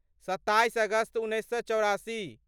सत्ताइस अगस्त उन्नैस सए चौरासी